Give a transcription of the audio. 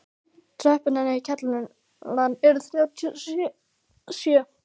Tröppurnar niður í kjallara eru þrjátíu og sjö.